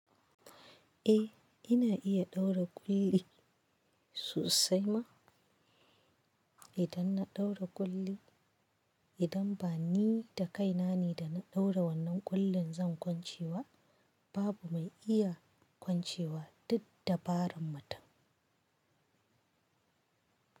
Eh ina iya ɗaura ƙulli sosai ma. Idan na ɗaura ƙulli, idan ba ni da kaina ne da na ɗaura wannan ƙullin zan kwance ba, babu mai iya kwancewa duk dabarar mutum.